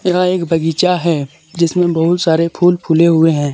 यह एक बगीचा है जिसमें बहुत सारे फूल फुले हुए हैं।